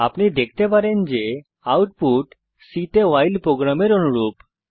আপনি দেখতে পারেন যে আউটপুট C তে ভাইল প্রোগ্রামের অনুরূপ